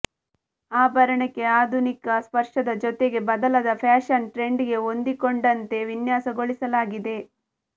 ಆಭರಣಕ್ಕೆ ಆಧುನಿಕ ಸ್ಪರ್ಶದ ಜೊತೆಗೆ ಬದಲಾದ ಫ್ಯಾಷನ್ ಟ್ರೆಂಡ್ಗೆ ಹೊಂದಿಕೊಂಡಂತೆ ವಿನ್ಯಾಸಗೊಳಿಸಲಾಗಿದೆ